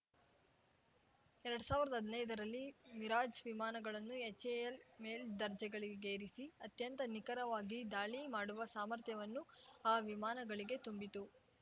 ಎರಡ್ ಸಾವಿರ್ದಾ ಹದ್ನೈದರಲ್ಲಿ ಮಿರಾಜ್‌ ವಿಮಾನಗಳನ್ನು ಎಚ್‌ಎಎಲ್‌ ಮೇಲ್ದರ್ಜೆಗಳಿಗೇರಿಸಿ ಅತ್ಯಂತ ನಿಖರವಾಗಿ ದಾಳಿ ಮಾಡುವ ಸಾಮರ್ಥ್ಯವನ್ನು ಆ ವಿಮಾನಗಳಿಗೆ ತುಂಬಿತು